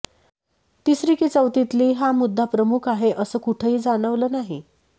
तिसरी कि चौथीतली हा मुद्दा प्रमुख आहे असं कुठंही जाणवलं नाही